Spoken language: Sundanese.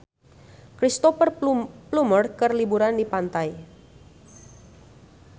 Cristhoper Plumer keur liburan di pantai